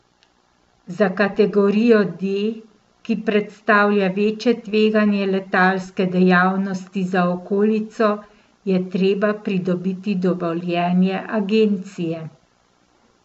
Za kategorijo D, ki predstavlja večje tveganje letalske dejavnosti za okolico, je treba pridobiti dovoljenje agencije.